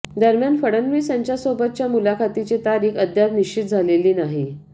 दरम्यान फडणवीस यांच्यासोबतच्या मुलाखतीची तारीख अद्याप निश्चित झालेली नाही